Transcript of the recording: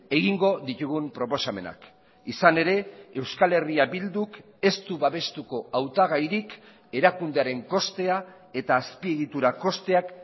egingo ditugun proposamenak izan ere euskal herria bilduk ez du babestuko hautagairik erakundearen kostea eta azpiegitura kosteak